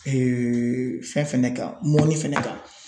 fɛn fɛnɛ kan mɔni fɛnɛ kan.